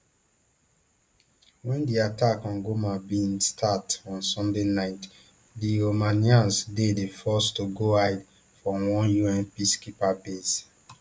wen di attack on goma bin start on sunday night di romanians dey dey forced to go hide for one un peacekeeping base